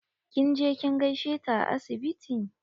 Kin je kin gaishe ta a asibiti?